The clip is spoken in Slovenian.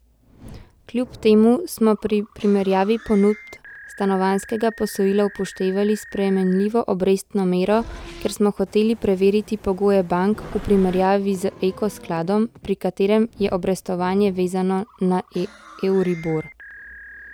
Kljub temu smo pri primerjavi ponudb stanovanjskega posojila upoštevali spremenljivo obrestno mero, ker smo hoteli preveriti pogoje bank v primerjavi z Eko skladom, pri katerem je obrestovanje vezano na euribor.